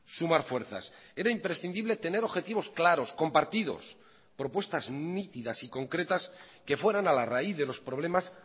sumar fuerzas era imprescindible tener objetivos claros compartidos propuestas nítidas y concretas que fueran a la raíz de los problemas